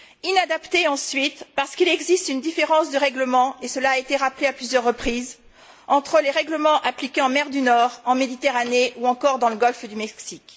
Inadaptée, ensuite, parce qu'il existe une différence et cela a été rappelé à plusieurs reprises entre les règlements appliqués en mer du Nord, en Méditerranée ou encore dans le golfe du Mexique.